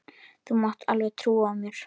Þú mátt alveg trúa mér!